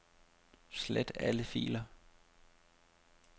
Slet alle filer.